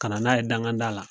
Kana n'a ye dangan da la